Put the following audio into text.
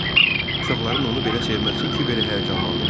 Uşaqların onu belə sevməsi kiberi həyəcanlandırırdı.